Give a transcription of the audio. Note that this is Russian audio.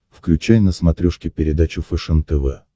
включай на смотрешке передачу фэшен тв